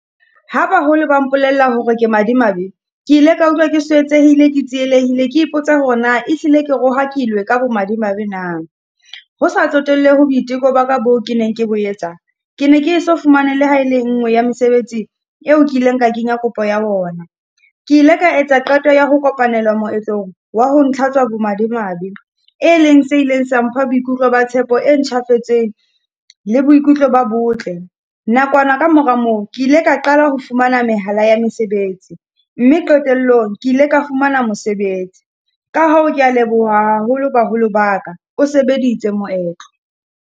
Ha baholo ba mpolella hore ke madimabe, ke ile ka utlwa ke swetsehile, ke tsielehile, ke ipotsa hore na e hlile ke rohakilwe ka bo madimabe na. Ho sa tsotellehe boiteko ba ka boo ke neng ke bo etsang. Ke ne ke e so fumane le ha e le nngwe ya mesebetsi eo kileng ka kenya kopo ya ona. Ke ile ka etsa qeto ya ho kopanela moetlong wa ho ntlhatswa bo madimabe. E leng se ileng sa mpha boikutlo ba tshepo e ntjhafetseng le boikutlo ba botle. Nakwana ka mora moo, ke ile ka qala ho fumana mehala ya mesebetsi, mme qetellong ke ile ka fumana mosebetsi. Ka hoo ke ya leboha haholo baholo ba ka. O sebeditse moetlo.